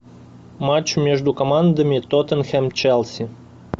матч между командами тоттенхэм челси